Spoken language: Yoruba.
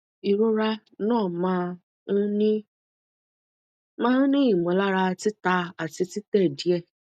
ìrora na ma n ni ma n ni imolara tita ati tite die